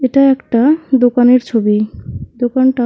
এটা একটা দোকানের ছবি দোকানটা--